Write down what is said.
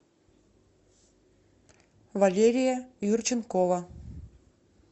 валерия юрченкова